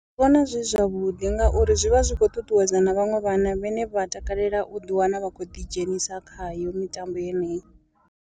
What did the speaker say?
Ndi vhona zwi zwavhuḓi ngauri zwi vha zwi khou ṱuṱuwedza na vhaṅwe vhana vhane vha takalela u ḓi wana vha khou ḓidzhenisa khayo mitambo yeneyi.